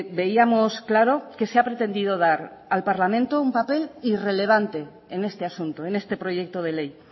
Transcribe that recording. veíamos claro que se ha pretendido dar al parlamento un papel irrelevante en este asunto en este proyecto de ley